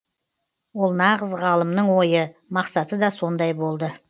ол нағыз ғалымның ойы мақсаты да сондай болды